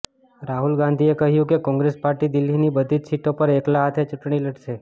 રાહુલ ગાંધીએ કહ્યું કે કોંગ્રેસ પાર્ટી દિલ્હીની બધી જ સીટો પર એકલા હાથે ચૂંટણી લડશે